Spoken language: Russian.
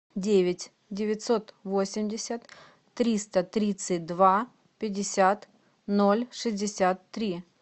девять девятьсот восемьдесят триста тридцать два пятьдесят ноль шестьдесят три